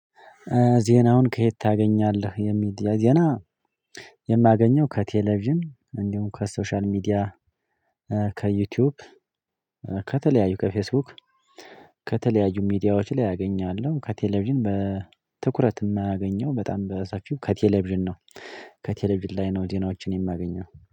ዜናውን ከየት ታገኛለህ የሚዲያ ዜና? የማገኘው ከቴሌቪዥን እንዲሁም ከሶሻል ሚዲያ ከዩቲዩብ። ከተለያዩ ከፌስቡክ ከተለያዩ ሚዲያዎች ላይ አገኛለሁ። ከቴሌቪዥን በትኩረት የማያገኘው በጣም በሰፊው ከቴሌቪዥን ነው። ከቴሌቪዥን ላይ ነው ዜናዎችን የማገኘው